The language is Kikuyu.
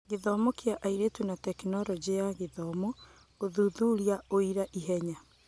Gĩthomo kĩa airĩtu na Tekinoronjĩ ya Gĩthomo: Gũthuthuria ũira ihenya.